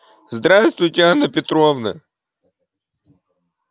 здравствуйте анна петровна